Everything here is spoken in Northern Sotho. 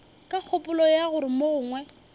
ka kgopolo ya gore mogongwe